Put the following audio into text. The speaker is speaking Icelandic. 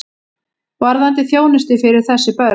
Varðandi þjónustu fyrir þessi börn.